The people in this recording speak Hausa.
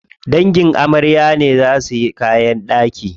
Dangin amarya ne za suyi kayan ɗaki.